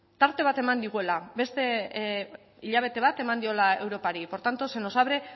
tarte bat digula beste hilabete bat eman diola europari por tanto se nos abre